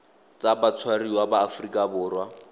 tsa batshwariwa ba aforika borwa